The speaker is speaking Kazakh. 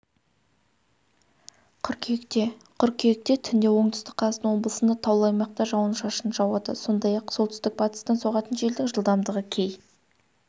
қыркүйекте қыркүйекте түнде оңтүстік қазақстан облысында таулы аймақта жауын-шашын жауады сондай-ақ солтүстік-батыстан соғатын желдің жылдамдығы кей